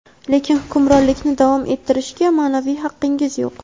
lekin hukmronlikni davom ettirishga ma’naviy haqqingiz yo‘q.